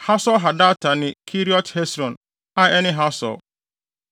Hasor-Hadata ne ne Keriot Hesron (a ɛne Hasor),